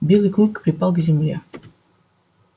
белый клык припал к земле